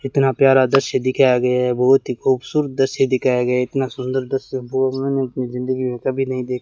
कितना प्यारा दृश्य दिखाया गया है बहुत ही खूबसूरत दृश्य दिखाया गया है इतना सुंदर दृश्य वो मैंने अपनी जिंदगी में कभी नहीं दे --